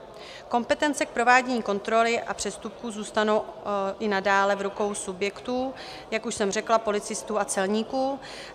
Kompetence k provádění kontroly a přestupků zůstanou i nadále v rukou subjektů, jak už jsem řekla, policistů a celníků.